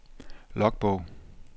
logbog